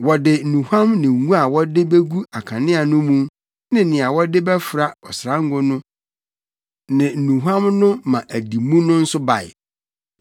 Wɔde nnuhuam ne ngo a wɔde begu akanea mu ne nea wɔde bɛfra ɔsrango no ne nnuhuam no ama adi mu no nso bae.